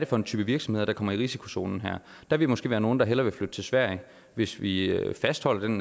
for en type virksomheder der kommer i risikozonen her der vil måske være nogle der hellere vil flytte til sverige hvis vi fastholder den